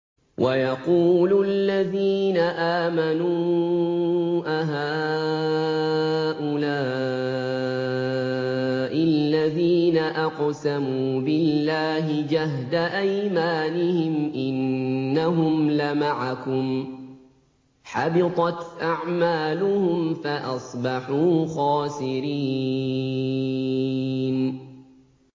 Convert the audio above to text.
وَيَقُولُ الَّذِينَ آمَنُوا أَهَٰؤُلَاءِ الَّذِينَ أَقْسَمُوا بِاللَّهِ جَهْدَ أَيْمَانِهِمْ ۙ إِنَّهُمْ لَمَعَكُمْ ۚ حَبِطَتْ أَعْمَالُهُمْ فَأَصْبَحُوا خَاسِرِينَ